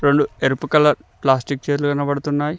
లు ఎరుపు colour plastic చేర్లు కనబడుతున్నాయ్.